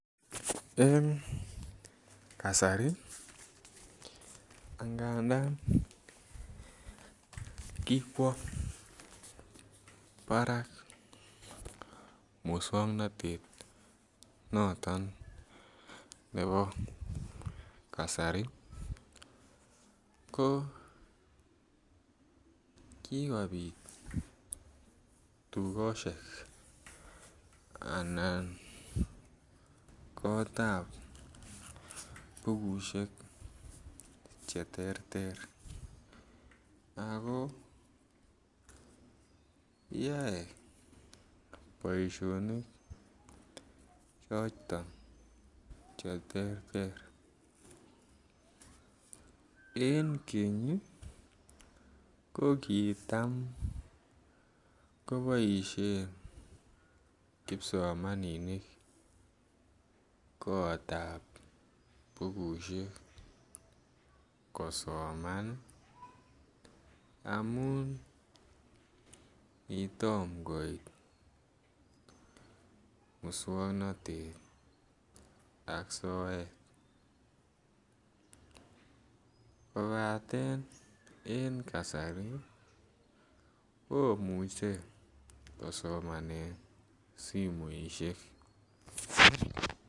En kasari angadan kikwo Barak muswongnotet noton nebo kasari ko kikopit tugoshek anan kotab bukushek che terter ako yoe boisioni choton che terter en Keny ii ko kitam keboishen kipsomaninik kotab bukushek kosoman ii amun kitom koit muswongnotet ak soet kobaten en kasari komuche kosomanen simoishek